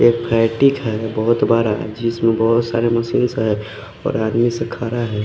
एक फेटिक है बोहोत बड़ा जिसमे बोहोत सारी मशीनस है और आदमी ऐसे खड़ा है।